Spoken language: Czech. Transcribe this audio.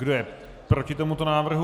Kdo je proti tomuto návrhu?